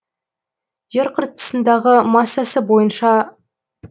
жер қыртысындағы массасы бойынша